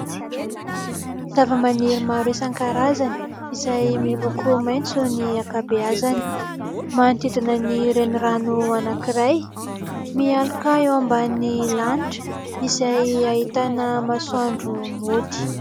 Zavamaniry maro isan-karazany izay miloko maitso ny ankabeazany. Manodidina ny renirano anankiray, mialoka eo ambany lanitra izay ahitana masoandro mody.